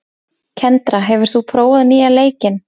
Kendra, hefur þú prófað nýja leikinn?